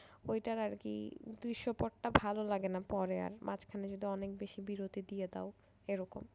ওইটার আর কি ভালো লাগেনা পরে আর মাঝখানে যদি অনেক বেশি বিরতি দিয়ে দাও এরকম